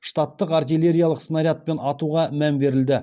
штаттық артиллериялық снарядпен атуға мән берілді